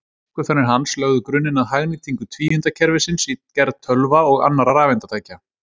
Uppgötvanir hans lögðu grunninn að hagnýtingu tvíundakerfisins í gerð tölva og annarra rafeindatækja.